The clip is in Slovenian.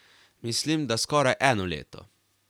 Mislim, da skoraj eno leto.